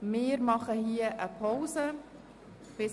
An dieser Stelle legen wir eine Pause ein.